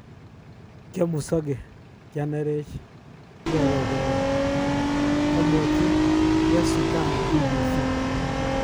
Kiomusoge, kianerech ,kiorogen nia,"komwochi Tyasutami BBC.